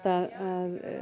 að